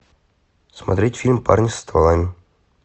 смотреть фильм парни со стволами